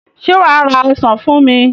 Ṣé wà á ra ọsàn fún mi?